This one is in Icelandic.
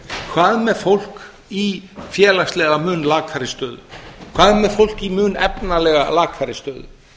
hvað með fólk í félagslega mun lakari stöðu hvað með fólk í mun efnalega lakari stöðu